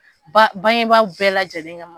Bangebaaw bɛɛ la lajɛlen kama